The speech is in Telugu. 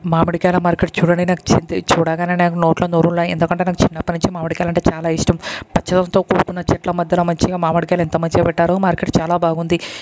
మామిడికాయల మార్కెట్ చూడడానికి చూడగానే నాకు నోట్లో నీళ్ళు ఊరాయి. ఎందుకంటే నాకు చిన్నప్పటి నుండి మామిడికాయలు అంటే చాలా ఇష్టం. పచ్చదనంతో కూడుకున్న చెట్ల మధ్యలో మంచిగా మామిడికాయలు ఎంత మంచిగా పెట్టారు. మార్కెట్ చాలా బాగుంది.